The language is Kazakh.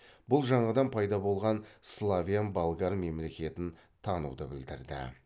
бұл жаңадан пайда болған славян болгар мемлекетін тануды білдірді